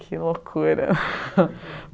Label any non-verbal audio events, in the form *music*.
Que loucura! *laughs*